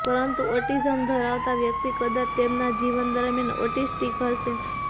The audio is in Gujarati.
પરંતુ ઓટીઝમ ધરાવતા વ્યક્તિ કદાચ તેમના જીવન દરમિયાન ઓટીસ્ટીક હશે